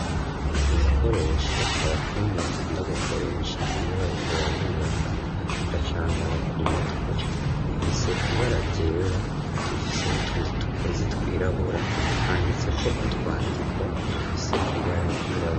Igikoresho abafundi bakunda gukoresha iyo bariko barubaka, bacambara ku mutwe, gifise ibara ryera, gifise n'utundi tugozi twirabura, handitseko utwandiko dufise ibara ryirabura.